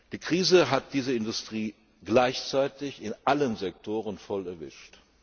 Die Krise hat diese Industrie gleichzeitig in allen Sektoren voll erwischt.